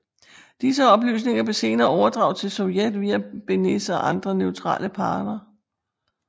Disse oplysninger blev senere overdraget til Sovjet via Beneš og andre neutrale parter